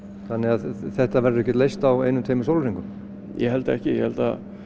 þannig að þetta verður ekki leyst á einum tveimur sólarhringum ég held ekki ég held